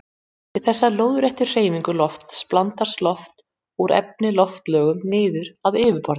Við þessa lóðréttu hreyfingu loftsins blandast loft úr efri loftlögum niður að yfirborði.